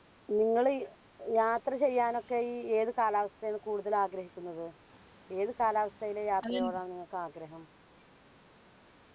നിങ്ങളി യാത്ര ചെയ്യാനൊക്കെ ഈ ഏത് കാലാവസ്ഥായാണ് കൂടുതൽ ആഗ്രഹിക്കുന്നത്? ഏത് കാലാവസ്ഥായിലെ യാത്രയോടാണ് നിങ്ങൾക്ക് ആഗ്രഹം?